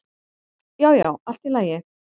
Já, já, allt í lagi